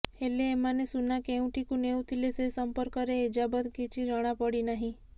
ହେଲେ ଏମାନେ ସୁନା କେଉଁଠିକୁ ନେଉଥିଲେ ସେ ସମ୍ପର୍କରେ ଏଯାବତ୍ କିଛି ଜଣାପଡିନାହିଁ